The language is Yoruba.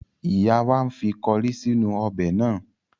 Ìyá wa ń fi kọrí sínú ọbẹ̀ náà.